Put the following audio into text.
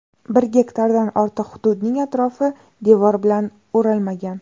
Bir gektardan ortiq hududning atrofi devor bilan o‘ralmagan.